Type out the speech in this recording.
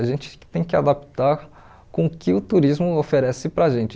A gente tem que adaptar com o que o turismo oferece para a gente.